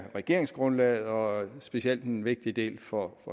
regeringsgrundlaget og specielt en vigtig del for